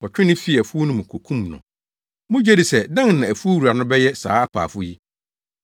Wɔtwee no fii afuw no mu kokum no. “Mugye di sɛ dɛn na afuw wura no bɛyɛ saa apaafo yi?